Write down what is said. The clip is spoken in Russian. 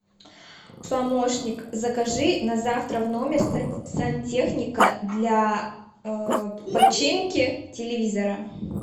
помощник закажи на завтра в номер сантехника для починки телевизора